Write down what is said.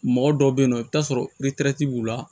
Mɔgɔ dɔw be yen nɔ i bi taa sɔrɔ b'u la